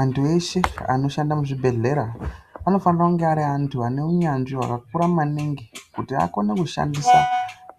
Antu eshe anoshanda muzvibhedhleya anofanire kunge ari antu ane unyanzvi wakakura maningi kuti akone kushandisa